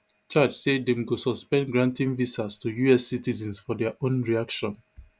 chadsay dem go suspend granting visas to us citizens for dia own reaction